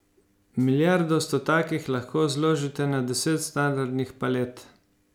Milijardo v stotakih lahko zložite na deset standardnih palet.